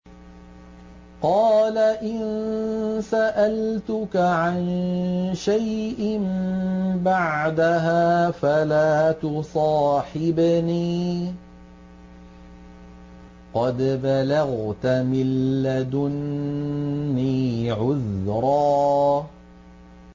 قَالَ إِن سَأَلْتُكَ عَن شَيْءٍ بَعْدَهَا فَلَا تُصَاحِبْنِي ۖ قَدْ بَلَغْتَ مِن لَّدُنِّي عُذْرًا